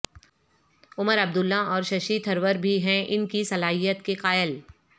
عمر عبداللہ اور ششی تھرور بھی ہیں ان کی صلاحیت کے قائل